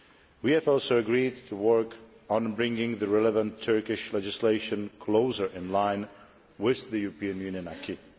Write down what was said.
We have also agreed to work on bringing the relevant Turkish legislation closer into line with the EU acquis.